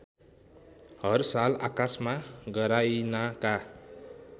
हरसाल आकाशमा गराइनाका